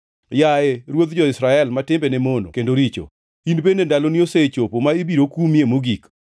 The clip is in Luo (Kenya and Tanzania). “ ‘Yaye ruodh jo-Israel ma timbene mono kendo richo, in bende ndaloni osechopo ma ibiro kumie mogik.